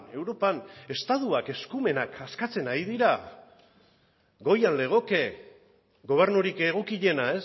europan estatuak eskumenak askatzen ari dira goian legoke gobernurik egokiena